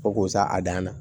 Ko k'o sa a dan na